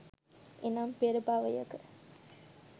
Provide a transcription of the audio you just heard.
එනම්, පෙර භවයක